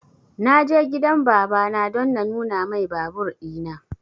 Na je gidan baba na don na nuna mai babur ina